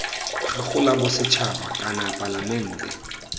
gago la bosetšhaba kana palamente